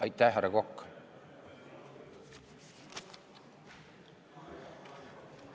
Aitäh, härra Kokk!